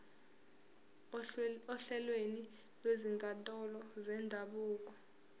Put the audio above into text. ohlelweni lwezinkantolo zendabuko